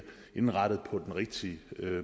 indrettet på den rigtige